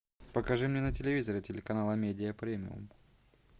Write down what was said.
покажи мне на телевизоре телеканал амедиа премиум